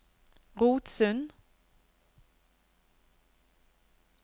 Rotsund